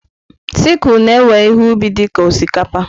Sicụ na-ewe ihe ubi dị ka osikapa.